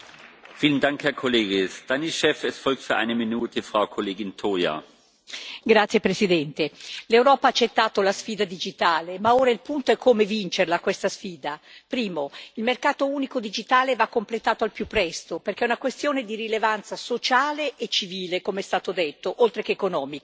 Signor Presidente, onorevoli colleghi, l'Europa ha accettato la sfida digitale, ma ora il punto è come vincerla questa sfida. Primo il mercato unico digitale va completato al più presto, perché è una questione di rilevanza sociale e civile, come è stato detto, oltre che economica.